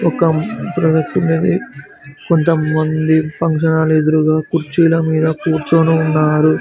ఒక కొంత మంది ఫంక్షన్ హాల్ ఎదురుగా కుర్చీల మీద కూర్చొని ఉన్నారు.